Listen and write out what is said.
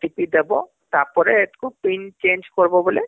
OTP ଦବ ତାପରେ ଏଥକୁ pin change କରବ ବୋଲେ